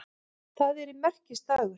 Það yrði merkisdagur.